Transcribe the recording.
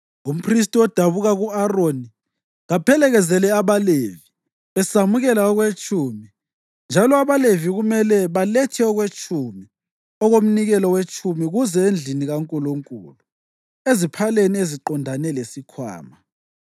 Umphristi odabuka ku-Aroni kaphelekezele abaLevi besamukela okwetshumi, njalo abaLevi kumele balethe okwetshumi okomnikelo wetshumi kuze endlini kaNkulunkulu, eziphaleni eziqondane lesikhwama.